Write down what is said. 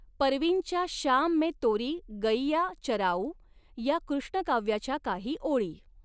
परवीनच्या श्याम में तोरी गइयॉं चराऊॅं या कृष्णकाव्याच्या काही ओळी